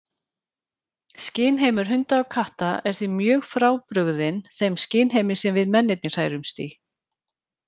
Skynheimur hunda og katta er því mjög frábrugðinn þeim skynheimi sem við mennirnir hrærumst í.